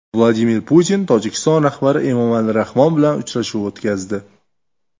Vladimir Putin Tojikiston rahbari Emomali Rahmon bilan uchrashuv o‘tkazdi.